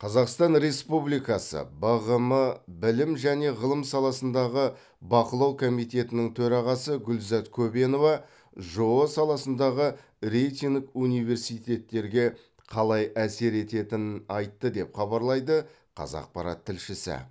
қазақстан республикасы бғм білім және ғылым саласындағы бақылау комитетінің төрағасы гүлзат көбенова жоо саласындағы рейтинг университеттерге қалай әсер етенінін айтты деп хабарлайды қазақпарат тілшісі